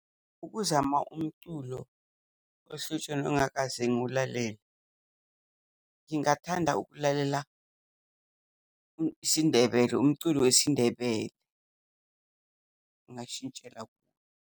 Ukuzama umculo ohlotsheni ongakaze ngiwulalele, ngingathanda ukulalela isiNdebele, umculo wesiNdebele. Ngingashintshela kuwo.